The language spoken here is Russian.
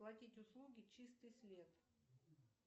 оплатить услуги чистый след